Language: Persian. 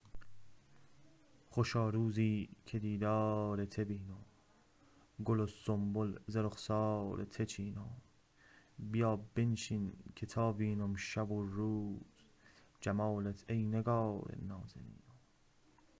خوشا روزی که دیدار ته وینم گل و سنبل ز رخسار ته چینم بیا بنشین که تا وینم شو و روز جمالت ای نگار نازنینم